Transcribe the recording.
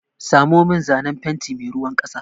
Samo min zanen fenti mai ruwan ƙasa!